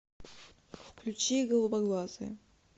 включи голубоглазая